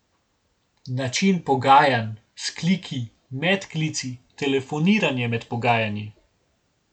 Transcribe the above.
Način pogajanj, vzkliki, medklici, telefoniranje med pogajanji.